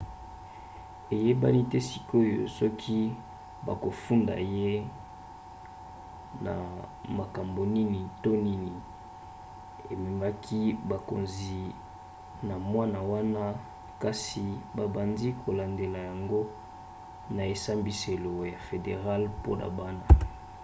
eyebani te sikoyo soki bakofunda ye na makambo nini to nini ememaki bakonzi na mwana wana kasi babandi kolandandela yango na esambiselo ya federale mpona bana